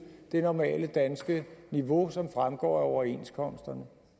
det normale danske niveau som fremgår af overenskomsterne